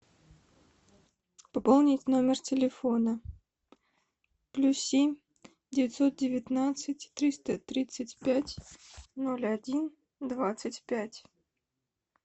пополнить номер телефона плюс семь девятьсот девятнадцать триста тридцать пять ноль один двадцать пять